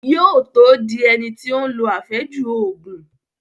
Yóò tó dín ẹni tí ó lo àfẹ́jù Ògùn